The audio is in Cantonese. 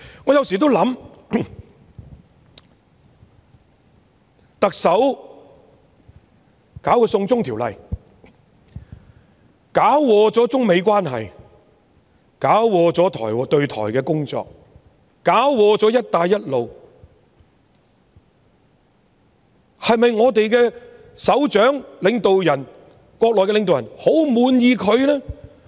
我有時候想，特首強推"送中條例"搞垮了中美關係、搞垮了對台的工作，搞垮了"一帶一路"，對於我們的首長，國內的領導人是否很滿意呢？